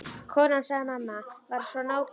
Konan sagði: Mamma var svo nákvæm.